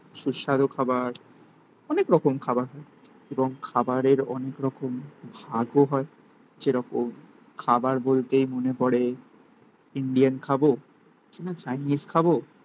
সুস্বাদু খাবার. অনেক রকম খাবার হয়. এবং খাবারের অনেক রকম ভাগও হয়. যেরকম খাবার বলতেই মনে পরে ইন্ডিয়ান খাবো কিনা চাইনিজ খাবো